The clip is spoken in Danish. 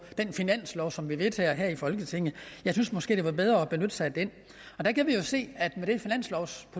i den finanslov som vi vedtager her i folketinget jeg synes måske det var bedre at benytte sig af den der kan vi jo se